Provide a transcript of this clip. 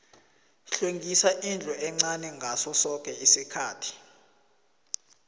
hlwengisa indlu encani ngaso soke isikhathi